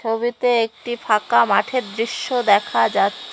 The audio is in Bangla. ছবিতে একটি ফাঁকা মাঠের দৃশ্য দেখা যাচ --